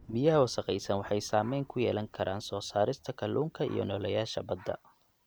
Biyaha wasakhaysan waxay saameyn ku yeelan karaan soo saarista kalluunka iyo nooleyaasha badda.